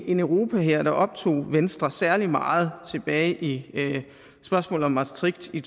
en europahær der optog venstre særlig meget tilbage ved spørgsmålet om maastricht i